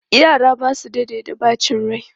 Yara ba su daɗe da ɓacin rai.